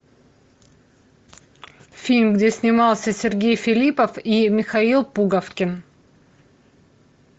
фильм где снимался сергей филиппов и михаил пуговкин